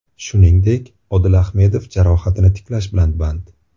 Shuningdek, Odil Ahmedov jarohatini tiklash bilan band.